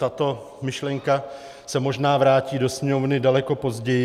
Tato myšlenka se možná vrátí do Sněmovny daleko později.